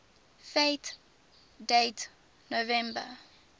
fact date november